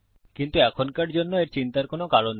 কিন্তু এখনকার জন্য এর চিন্তার কারণ নেই